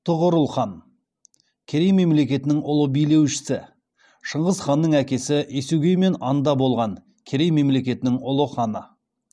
тұғырыл хан керей мемлекетінің ұлы билеушісі шыңғыс ханның әкесі есугеймен анда болған керей мемлекетінің ұлы ханы